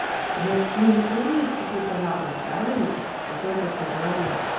значит у него тоже есть какой-то разум правильно какое-то сознание